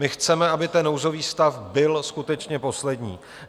My chceme, aby ten nouzový stav byl skutečně poslední.